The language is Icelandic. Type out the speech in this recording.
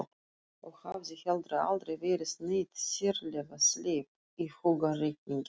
Og hafði heldur aldrei verið neitt sérlega sleip í hugarreikningi.